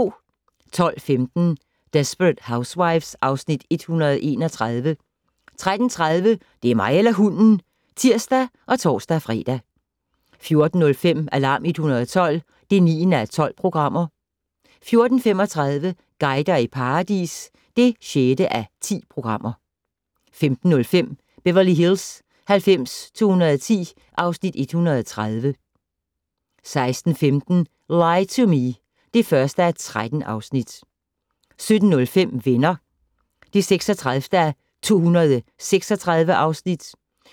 12:15: Desperate Housewives (Afs. 131) 13:30: Det er mig eller hunden! (tir og tor-fre) 14:05: Alarm 112 (9:12) 14:35: Guider i paradis (6:10) 15:05: Beverly Hills 90210 (Afs. 130) 16:15: Lie to Me (1:13) 17:05: Venner (36:236)